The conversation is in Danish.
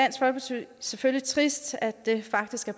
selvfølgelig trist at det faktisk